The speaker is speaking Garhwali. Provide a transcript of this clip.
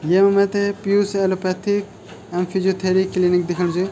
येमा मैथे पियूष एलोपैथिक एवं फिजियोथेरि क्लिनिक दिख्येणू च।